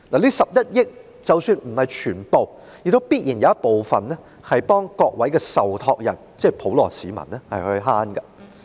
這11億元即使不是全部也必然有部分回饋委託人，即普羅市民。